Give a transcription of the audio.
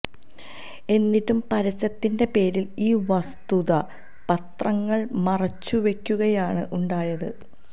എന്നിട്ടും പരസ്യത്തിന്റെ പേരിൽ ഈ വസ്തുത പത്രങ്ങൾ മറച്ചുവെയ്ക്കുകയാണ് ഉണ്ടാത്